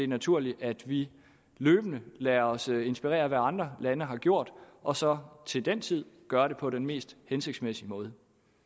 naturligt at vi løbende lader os inspirere af hvad andre lande har gjort og så til den tid gør det på den mest hensigtsmæssige måde